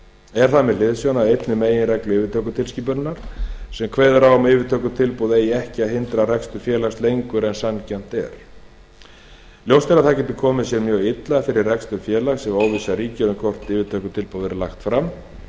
er það með hliðsjón af einni af meginreglum yfirtökutilskipunarinnar sem kveður á um að yfirtökutilboð eigi ekki að hindra rekstur félags lengur en sanngjarnt er ljóst er að það getur komið sér mjög illa fyrir rekstur félags ef óvissa ríkir um hvort yfirtökutilboð verði lagt fram